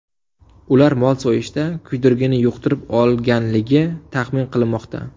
Ular mol so‘yishda kuydirgini yuqtirib olganligi taxmin qilinmoqda.